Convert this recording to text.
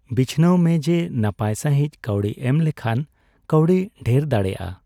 ᱵᱤᱪᱷᱱᱟᱹᱣ ᱢᱮ ᱡᱮ, ᱱᱟᱯᱟᱭ ᱥᱟᱦᱤᱡ ᱠᱟᱣᱰᱤ ᱮᱢ ᱞᱮᱠᱷᱟᱱ ᱠᱟᱣᱰᱤ ᱰᱷᱮᱨ ᱫᱟᱲᱮᱭᱟᱜᱼᱟ ᱾